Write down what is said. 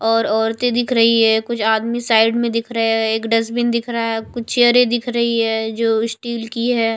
और औरतें दिख रही है कुछ आदमी साइड में दिख रहे है एक डस्टबिन दिख रहा है कुछ चेयरें दिख रही है जो स्टील की है।